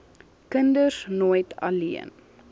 kinders nooit alleen